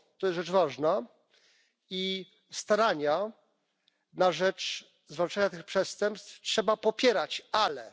To jest rzecz ważna i starania na rzecz zwalczania tych przestępstw trzeba popierać, ale...